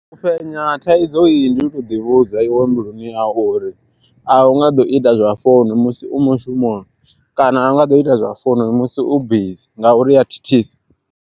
U fhenya thaidzo eyi ndi u toḓi vhudza i we mbiluni yau, uri a u nga ḓo ita zwa founu musi u mushumo kana a u nga ḓo ita zwa founu musi u bizi ngauri iya thithisa.